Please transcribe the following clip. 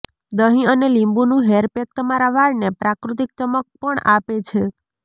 દહીં અને લીંબુનું હેર પેક તમારા વાળને પ્રાકૃતિક ચમક પણ આપે છે